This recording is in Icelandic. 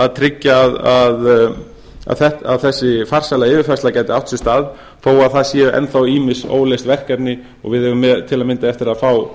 að tryggja að þessi farsæla yfirfærsla gæti átt sér stað þó að það séu enn þá ýmis óleyst verkefni og við eigum til að mynda eftir að fá